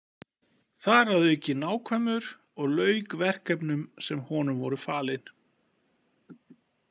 Þar að auki nákvæmur og lauk verkefnum sem honum voru falin.